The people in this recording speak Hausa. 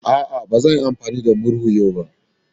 A'a, ba zan yi amfani da murhu yau ba.